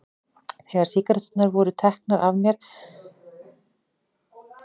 Þegar sígaretturnar voru teknar var mér sagt að ég gæti fengið að reykja þegar tækifæri